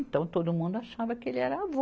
Então, todo mundo achava que ele era avô.